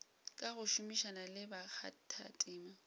ka go šomišana le bakgathatema